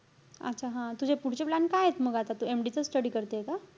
अच्छा हा. तुझे पुढचे plan कायेत मग आता? तू MD चा study करते का?